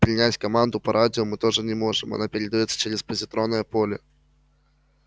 принять команду по радио мы тоже не можем она передаётся через позитронное поле